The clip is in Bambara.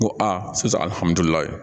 N ko a su alihamudulilayi